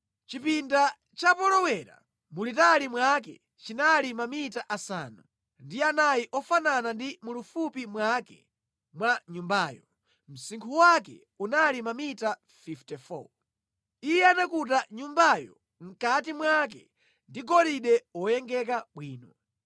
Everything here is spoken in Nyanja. Chipinda cha polowera mulitali mwake chinali mamita asanu ndi anayi ofanana ndi mulifupi mwake mwa nyumbayo. Msinkhu wake unali mamita 54. Iye anakuta nyumbayo mʼkati mwake ndi golide woyengeka bwino.